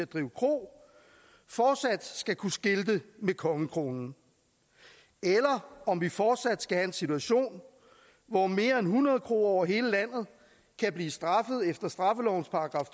drive kro fortsat skal kunne skilte med kongekronen eller om vi fortsat skal have en situation hvor mere end hundrede kroer over hele landet kan blive straffet efter straffelovens §